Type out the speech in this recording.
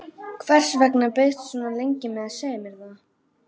Hvers vegna beiðstu svona lengi með að segja mér það?